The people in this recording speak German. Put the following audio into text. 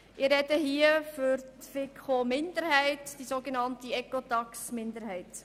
Ich vertrete den Antrag der FiKo-Minderheit, genannt Ecotax-Minderheit.